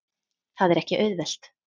Það er ekki auðvelt.